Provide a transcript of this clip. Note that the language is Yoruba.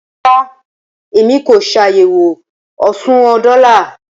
Rara, Emi ko ṣayẹwo oṣuwọn dola